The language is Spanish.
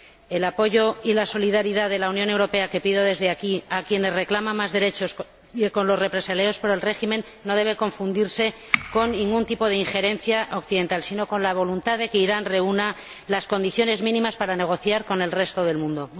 El apoyo y la solidaridad de la Unión Europea, que pido desde aquí, para quienes reclaman más derechos y para los represaliados por el régimen no deben confundirse con ningún tipo de injerencia occidental, sino con la voluntad de que Irán reúna las condiciones mínimas para negociar con el resto del mundo.